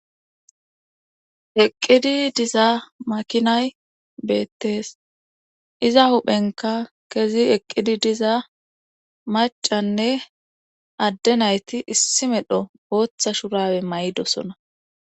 eqqidi diza makinay beettees iza huphenka kezi eqqidi diza macanne adde nayti issi medho hooththa shurawe maydosona